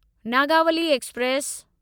Nagavali express